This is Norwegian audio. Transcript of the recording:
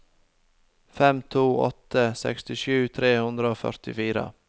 fem to åtte åtte sekstisju tre hundre og førtifire